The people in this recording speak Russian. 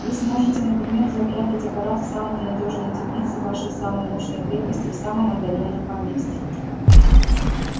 вы сможете например запрятать аппарат в самую надёжную темницу вашей самой мощной крепости в самом отдалённом поместье